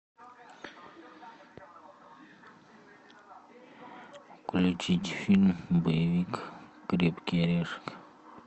включить фильм боевик крепкий орешек